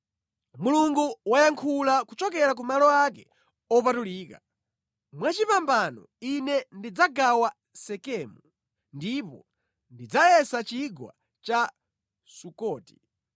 Mulungu wayankhula kuchokera ku malo ake opatulika: “Mwachipambano Ine ndidzagawa Sekemu ndipo ndidzayesa chigwa cha Sukoti.